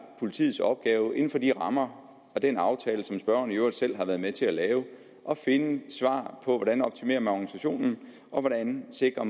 politiets opgave inden for de rammer og den aftale som spørgeren i øvrigt selv har været med til at lave at finde svar på hvordan man optimerer organisationen og hvordan man sikrer